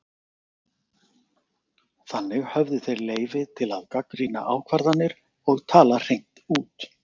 þannig höfðu þeir leyfi til að gagnrýna ákvarðanir og tala hreint út